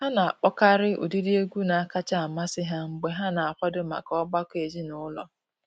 Ha na-akpọkarị ụdịdị egwu na-akacha amasị ha mgbe ha na-akwado maka ọgbakọ ezinụlọ.